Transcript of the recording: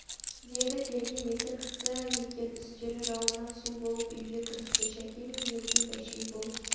деді келген екі кісі екен үстері жауыннан су болып үйге кірісті шәке мен мерген бәшей болып